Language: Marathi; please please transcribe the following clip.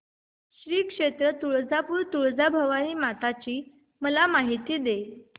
श्री क्षेत्र तुळजापूर तुळजाभवानी माता ची मला माहिती दे